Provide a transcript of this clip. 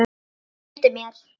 Þau gleymdu mér.